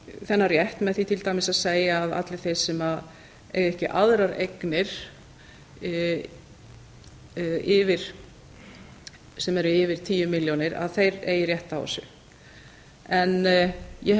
þennan rétt með því til dæmis að segja að allir þeir sem eiga ekki aðrar eignir sem eru af tíu milljónir að þeir eigi rétt á þessu en ég hef